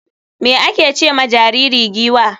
me ake ce ma jariri giwa?